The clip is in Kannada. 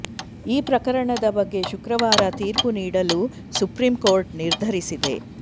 ಈ ಪ್ರಕರಣದ ಬಗ್ಗೆ ಶುಕ್ರವಾರ ತೀರ್ಪು ನೀಡಲು ಸುಪ್ರೀಂಕೋರ್ಟ್ ನಿರ್ಧರಿಸಿದೆ